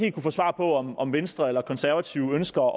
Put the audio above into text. at få svar på om om venstre eller konservative ønsker